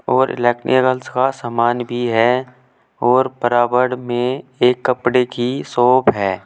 और इलेक्निकल्स का सामान भी है और बराबर में एक कपड़े की शॉप है।